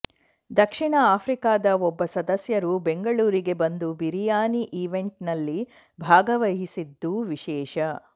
ದಕ್ಷಿಣ ಆಫ್ರಿಕಾದ ಒಬ್ಬ ಸದಸ್ಯರು ಬೆಂಗಳೂರಿಗೆ ಬಂದು ಬಿರಿಯಾನಿ ಈವೆಂಟ್ನಲ್ಲಿ ಭಾಗವಹಿಸಿದ್ದು ವಿಶೇಷ